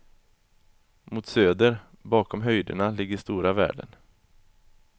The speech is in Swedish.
Mot söder, bakom höjderna ligger stora världen.